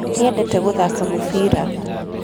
Nĩendete gũthaka mũbĩra.